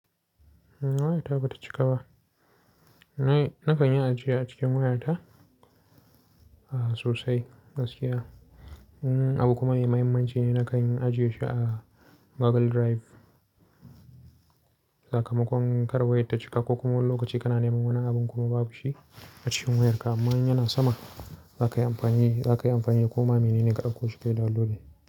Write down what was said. Wayata ba ta cika ba. Na kan yi ajiya a cikin wayata sosai gaskiya. Abu kuma yin muhimmanci ne na kan yi ajiye shi a Google Drive. Sakamakon kar wayar ta cika ko kuma wani lokaci kana neman wani abin kuma babu shi a cikin wayarka amma in yana sama za ka yi amfani, za ka yi amfani ko ma menene ka ɗauko shi kai downloading.